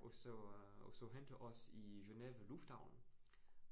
Og så, og så hente os i Genève lufthavn,